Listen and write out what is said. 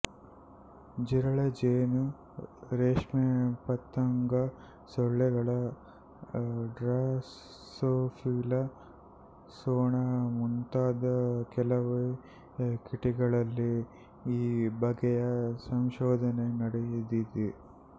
ಜಿರಲೆ ಜೇನು ರೇಷ್ಮೆಪತಂಗ ಸೊಳ್ಳೆಗಳು ಡ್ರಾಸೋಫಿಲ ನೊಣ ಮುಂತಾದ ಕೆಲವೇ ಕೀಟಗಳಲ್ಲಿ ಈ ಬಗೆಯ ಸಂಶೋಧನೆ ನಡೆದಿದೆ